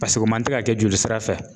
Paseke o man tɛ ka kɛ jolisira fɛ.